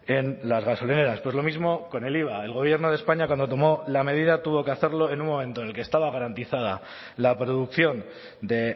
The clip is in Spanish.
en las gasolineras pues lo mismo con el iva el gobierno de españa cuando tomó la medida tuvo que hacerlo en un momento en el que estaba garantizada la producción de